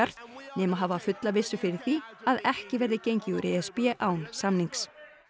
nema hafa fulla vissu fyrir því að ekki verði gengið úr e s b án samnings